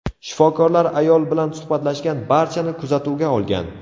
Shifokorlar ayol bilan suhbatlashgan barchani kuzatuvga olgan.